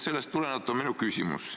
Sellest tulenevalt on mul küsimus.